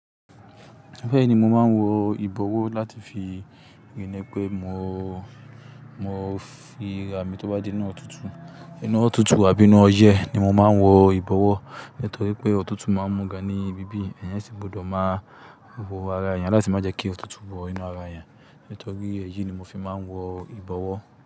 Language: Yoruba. Bẹ́ẹ̀ni, mo máa ń wọ ìbọ̀wọ́ láti fi ríi pé mo, mo fi bo ara mi tó bá jẹ́ inú ọ̀tútù, inú ọ̀tútù àbí inú ọyẹ́ ni mo máa ń wọ ìbọ̀wọ́. Nítorí pé ọ̀tútù máa ń mú ga ní ibíbí, ẹ̀eyàn ṣì gbọ́dọ̀ máa bọ ara èèyàn láti má jẹ́ kí ọ̀tútù wọ inú ara èèyàn. Nítorí èyí ni mo fi máa ń wọ ìbọ̀wọ́.